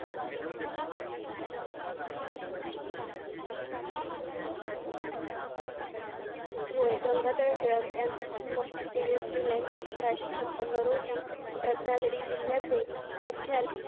होय गंगाधर टिळक यांचा जन्म तेवीस जुलै अठराशें छप्पन रोजी रत्नागिरी जिल्ह्याचे मुख्या